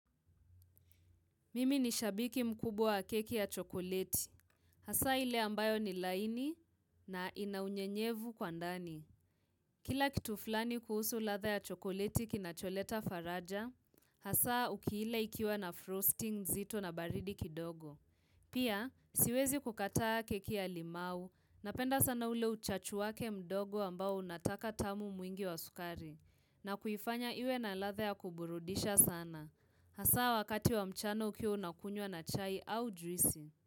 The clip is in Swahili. Mimi ni shabiki mkubwa wa keki ya chokoleti. Hasa ile ambayo ni laini na inaunyenyevu kwa ndani. Kila kitu fulani kuhusu ladha ya chokoleti kinacholeta faraja, hasa ukiila ikiwa na frosting zito na baridi kidogo. Pia, siwezi kukataa keki ya limau, napenda sana ule uchachu wake mdogo ambao unataka tamu mwingi wa sukari, na kuifanya iwe na ladha ya kuburudisha sana. Hasa wakati wa mchana ukiwa unakunywa na chai au juisi.